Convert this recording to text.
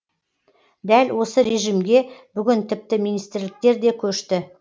дәл осы режимге бүгін тіпті министрліктер де көшті